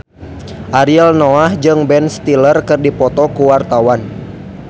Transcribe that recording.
Ariel Noah jeung Ben Stiller keur dipoto ku wartawan